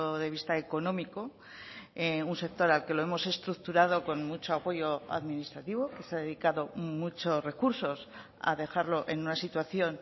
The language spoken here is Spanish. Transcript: de vista económico un sector al que lo hemos estructurado con mucho apoyo administrativo que se ha dedicado muchos recursos a dejarlo en una situación